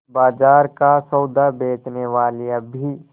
बाजार का सौदा बेचनेवालियॉँ भी